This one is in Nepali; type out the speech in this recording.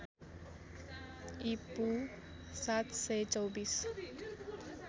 ईपू ७२४